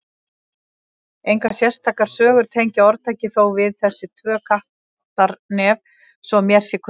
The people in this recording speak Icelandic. Engar sérstakar sögur tengja orðtakið þó við þessi tvö Kattarnef svo mér sé kunnugt.